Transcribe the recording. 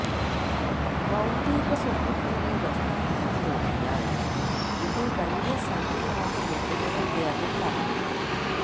ബൌദ്ധിക സ്വത്തുക്കളുടെ നഷ്ടം കൂടി നോക്കിയാല് ഇത് വലിയ സംഖ്യയാകുമെന്നും അദ്ദേഹം പറഞ്ഞു